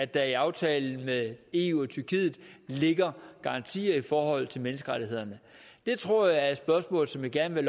der i aftalen med eu og tyrkiet ligger garantier i forhold til menneskerettighederne det tror jeg er et spørgsmål som jeg gerne vil